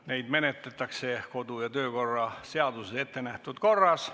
Neid menetletakse kodu- ja töökorra seaduses ettenähtud korras.